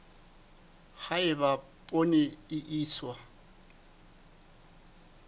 ha eba poone e iswa